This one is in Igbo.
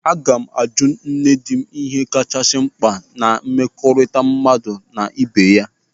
Aga m ajụ nne dị m ihe kachasị mkpa na mmekọrịta mmadụ na ị́bè ya.